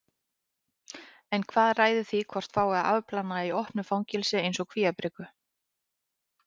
En hvað ræður því hvort fái að afplána í opnu fangelsi eins og Kvíabryggju?